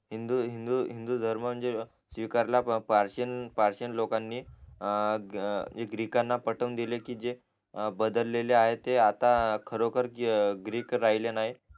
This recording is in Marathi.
हिंदू हिंदू हिंदू हिंदू धर्म म्हणजे स्वीकारला पार पर्शियन लोकांनी अं ग्रीकांना पटवून दिलेकी जे बदलेले आहेत ते आता खरोखर ग्रीक राहिले नाय